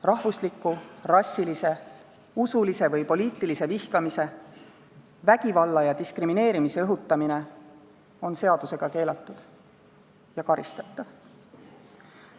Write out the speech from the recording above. Rahvusliku, rassilise, usulise või poliitilise vihkamise, vägivalla ja diskrimineerimise õhutamine on seadusega keelatud ja karistatav.